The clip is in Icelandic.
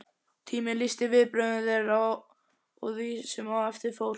Tíminn lýsti viðbrögðum þeirra og því, sem á eftir fór